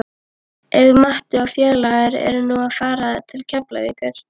Ef Matti og félagar eru nú að fara til Keflavíkur!